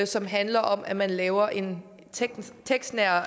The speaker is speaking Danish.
som handler om at man laver en tekstnær